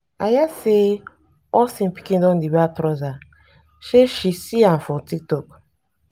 i hear say austin pikin don dey wear trouser say shesee a for tiktok.